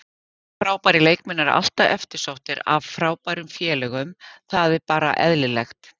Frábærir leikmenn eru alltaf eftirsóttir af frábærum félögum, það er bara eðlilegt.